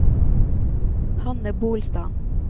Hanne Bolstad